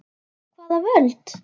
Hvaða völd?